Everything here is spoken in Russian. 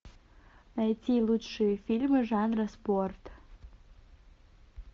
найти лучшие фильмы жанра спорт